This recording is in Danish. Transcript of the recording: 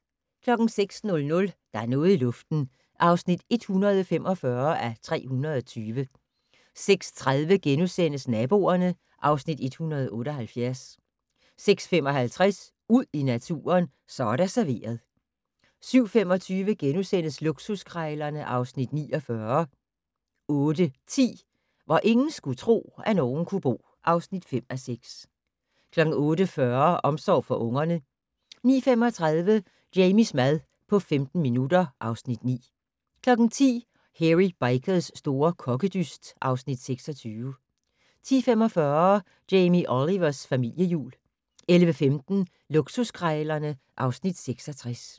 06:00: Der er noget i luften (145:320) 06:30: Naboerne (Afs. 178)* 06:55: Ud i naturen: Så er der serveret 07:25: Luksuskrejlerne (Afs. 49)* 08:10: Hvor ingen skulle tro, at nogen kunne bo (5:6) 08:40: Omsorgen for ungerne 09:35: Jamies mad på 15 minutter (Afs. 9) 10:00: Hairy Bikers' store kokkedyst (Afs. 26) 10:45: Jamie Olivers familiejul 11:15: Luksuskrejlerne (Afs. 66)